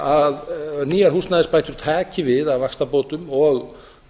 að nýjar húsnæðisbætur taki við af vaxtabótum og